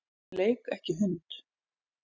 Leik ekki hund.